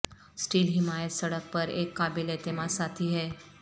steel حمایت سڑک پر ایک قابل اعتماد ساتھی ہے